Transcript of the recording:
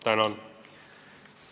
Tänan!